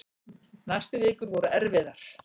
Næstu vikur voru erfiðar.